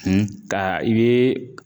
ka i be